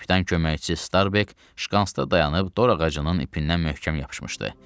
Kapitan köməkçi Starbek şkantsda dayanıb dor ağacının ipindən möhkəm yapışmışdı.